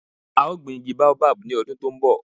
A o gbin igi baobab ni odun to nbo